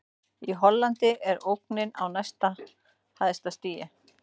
Í Hollandi er ógnin á næst hæsta stigi.